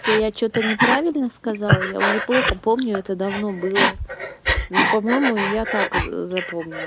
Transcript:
это я что-то неправильно сказала я уже плохо помню это давно было ну по-моему я так запомнила